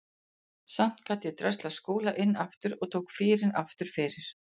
Samt gat ég dröslað Skúla inn aftur og tók fýrinn aftur fyrir.